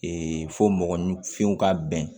fo mɔgɔninfinw ka bɛn